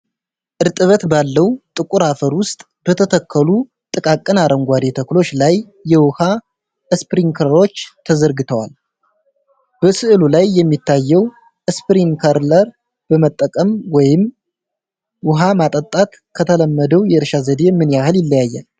እርጥበት ባለው ጥቁር አፈር ውስጥ በተተከሉ ጥቃቅን አረንጓዴ ተክሎች ላይ የውሃ ስፕሪንክለሮች ተዘርግተዋል። በሥዕሉ ላይ የሚታየው ስፕሪንክለር በመጠቀም ውሃ ማጠጣት ከተለመደው የእርሻ ዘዴ ምን ያህል ይለያል?